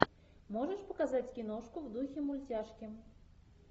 можешь показать киношку в духе мультяшки